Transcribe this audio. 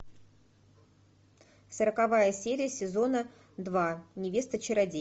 сороковая серия сезона два невеста чародея